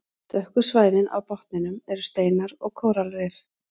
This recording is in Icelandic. Dökku svæðin á botninum eru steinar og kóralrif.